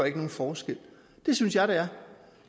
ikke nogen forskel det synes jeg det er